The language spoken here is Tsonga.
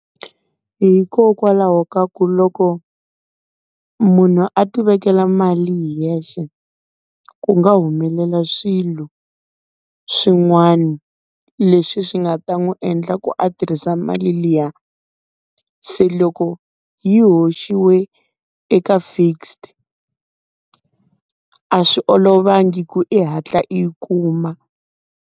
Hikokwalaho ka ku loko munhu a ti vekela mali hi yexe, ku nga humelela swilo swin'wana leswi swi nga ta n'wi endla ku a tirhisa mali liya. Se loko yi hoxiwe eka fixed a swi olovangi ku i hatla i yi kuma.